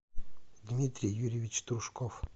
дмитрий юрьевич трушков